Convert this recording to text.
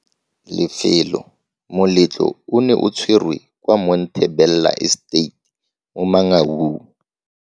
Lefelo. Moletlo o ne o tshwerwe kwa Monte Bella Estate mo Mangaung.